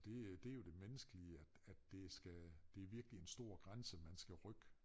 Det det jo det menneskelige at at det skal det er virkelig en stor grænse man skal rykke